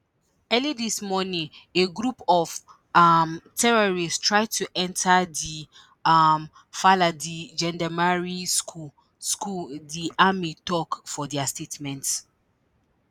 early dis morning a group of um terrorists try to enta di um faladie gendarmerie school school di army tok for dia statement